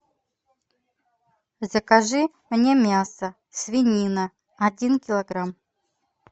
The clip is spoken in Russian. закажи мне мясо свинина один килограмм